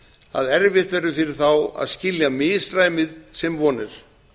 að erfitt verður fyrir þá að skilja misræmið sem von er